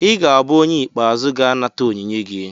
ị ga-abụ onye ikpeazụ ga-anata onyinye gị